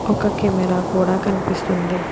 ఒక కెమెరా కూడా కనిపిస్తుంది.